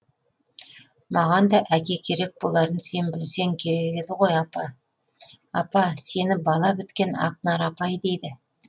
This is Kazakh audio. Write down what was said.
маған да әке керек боларын сен білсең керек еді ғой апа апа сені бала біткен ақнар апай дейді